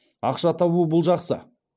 ақша табу бұл жақсы